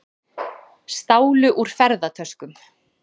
Stálu úr ferðatöskum